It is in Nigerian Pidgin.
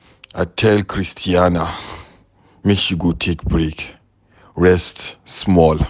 I tell Christiana make she go take break rest small